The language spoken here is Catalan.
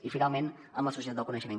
i finalment amb la societat del coneixement